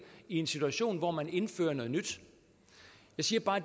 i en situation hvor man indfører noget nyt jeg siger bare